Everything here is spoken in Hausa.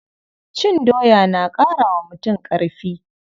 Cin doya na ƙara wa mutum ƙarfi.